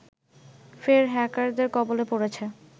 ফের হ্যাকারদের কবলে পড়েছে